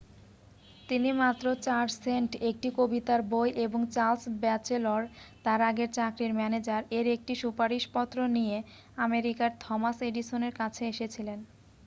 তিনি মাত্র 4 সেন্ট একটি কবিতার বই এবং চার্লস ব্যাচেলর তাঁর আগের চাকরির ম্যানেজার-এর একটি সুপারিশপত্র নিয়ে আমেরিকার থমাস এডিসনের কাছে এসেছিলেন।